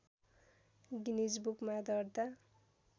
Guinness बुकमा दर्ता